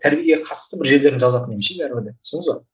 тәрбиеге қатысты бір жерлерін жазатын едім ше бәрібір де түсіндіңіз бе